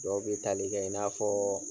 Dɔw be tali kɛ i n'a fɔɔ